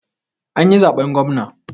An yi zaɓen gwamna